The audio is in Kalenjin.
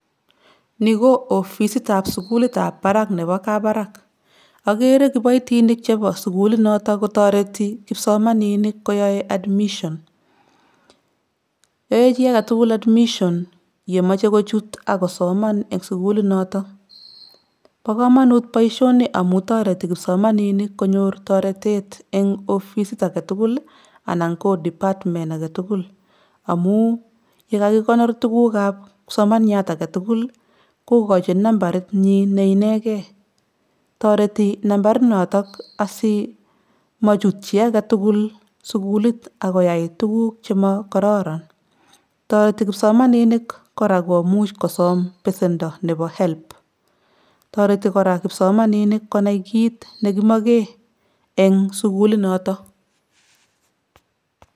Nii ko ofisit ab sukuli ab barak nebo kabarak, okere kipoitinik chebo sukulit noton kotoreti kipsomaninik koyoe admission yoe chii aketuku admission yemoche kochut ak kosoman en sukulit noton bo komonut boishoni amun toreti kipsomaninik konyor toretet en offisit aketukul anan ko department aketukul amun yekakikonor tukuk ab kipsomaniat aketukul kokojin nambarit nyin ne inegen toreti nambarit noton asimochut chii aketutuk ak koyai tukul chemokororon, toreti kosomaninik koraa komuch kosom besendo nebo help, toreti koraa kipsomaninik konai kiit nekimoken en sukulit noton.